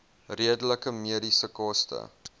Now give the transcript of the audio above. redelike mediese koste